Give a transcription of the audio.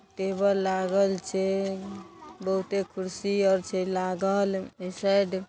table लागल छै बहुते कुर्सी आर छै लागल इ साइड --